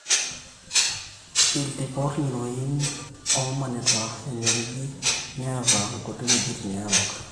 iltipot ng'iroin oomanita enyoriji neeta nkuti wuejitin neerook